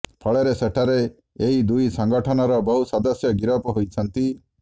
ଫଳରେ ସେଠାରେ ଏହି ଦୁଇ ସଙ୍ଗଠନର ବହୁ ସଦସ୍ୟ ଗିରଫ ହୋଇଛନ୍ତି